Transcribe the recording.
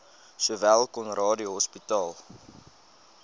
sowel conradie hospitaal